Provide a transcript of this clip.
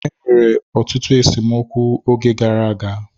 Enwere ọtụtụ esemokwu oge gara aga.